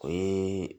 O ye